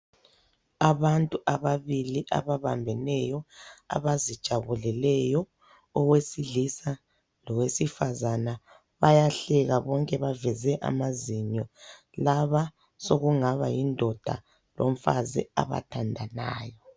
Abantu ababili ababambeneyo abazijabuleleyo owesilisa lowesifazana bayahleka bonke baveze amazinyo laba sokungaba yindoda lomfazi abathandanayo.